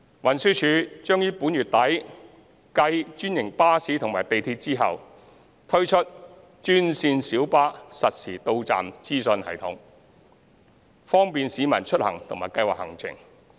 運輸署將於本月底繼專營巴士及港鐵後，推出專線小巴實時到站資訊系統，方便市民出行和計劃行程。